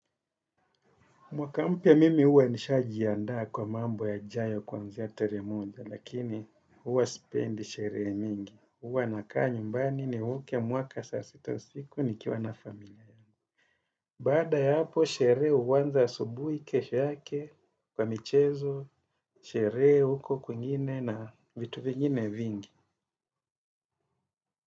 Mwaka mpya mimi huwa nishaji ya ndaa kwa mambo ya jayo kwanzea terimuja lakini uwa spendi sheree mingi uwa nakaa nyumbani ni uke mwaka sasito siku nikiwa na familia ya bada ya hapo sheree uwanza subuhi kesu yake kwa michezo sherehe huko kwingine na vitu vingine vingi.